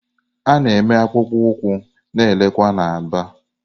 A na-eme akpụkpọ ụkwụ na-erekwa na Aba.